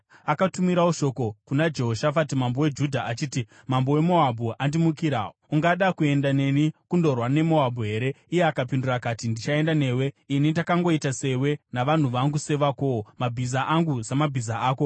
Akatumirawo shoko kuna Jehoshafati mambo weJudha achiti, “Mambo weMoabhu andimukira. Ungada kuenda neni kundorwa neMoabhu here?” Iye akapindura akati, “Ndichaenda newe. Ini ndakangoita sewe, navanhu vangu sevakowo, mabhiza angu samabhiza ako.”